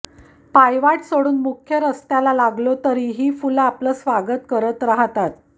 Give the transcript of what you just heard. पायवाट सोडून मुख्य रस्त्याला लागलो तरी ही फुलं आपलं स्वागत करत राहतात